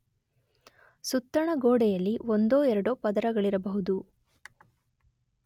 ಸುತ್ತಣ ಗೋಡೆಯಲ್ಲಿ ಒಂದೋ ಎರಡೋ ಪದರಗಳಿರಬಹುದು.